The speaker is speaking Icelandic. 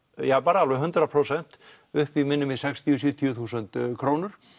alveg hundrað prósent upp í minnir mig sextíu til sjötíu þúsund krónur